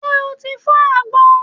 Ṣé o ti fọ́ àgbọn?